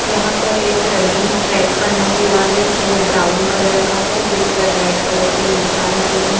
यहां पर एक रनिंग ट्रैक बना हुआ है जो ब्राउन कलर का है जिस पर रेड कलर के निशान बने हैं।